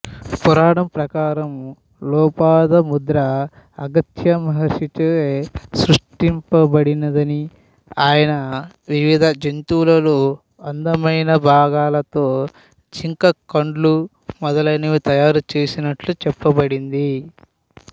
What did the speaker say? పురాణం ప్రకారం లోపాముద్ర అగత్స్య మహర్షిచే సృషింపబడినదని ఆయన వివిధ జంతువులలో అందమైన భాగాలతోజింక కండ్లు మొదలైనవి తయారుచేసినట్లు చెప్పబడింది